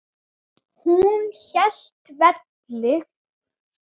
Hún hélt velli.